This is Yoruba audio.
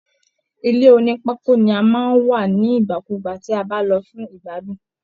Ilé onipako ni a máa ń wà ní igbakugba ti a ba lọ fún igbadun.